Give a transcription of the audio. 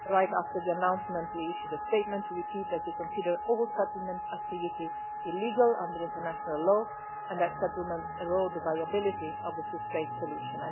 Right after the announcement, we issued a statement to repeat that we consider all settlement activity illegal under international law, and that settlements erode the viability of the two state solution.